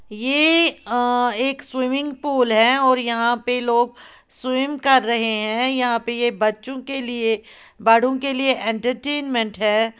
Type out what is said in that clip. ये अ एक स्विमिंग पूल है और यहां पर लोग स्विम कर रहे हैं यहां पर यह बच्चों के लिए बड़ों के लिए एंटरटेनमेंट है।